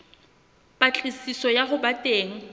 patlisiso ya ho ba teng